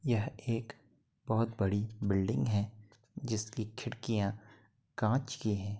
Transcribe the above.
यह एक बोहोत बड़ी है जिसकी खिड़कियां कांच की हैं।